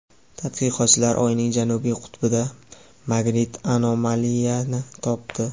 Tadqiqotchilar Oyning janubiy qutbida magnit anomaliyani topdi.